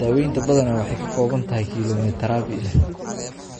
Daaweynta badanaa waxay ka kooban tahay kiimoterabi leh